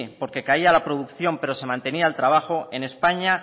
porque caía la producción pero se mantenía el trabajo en españa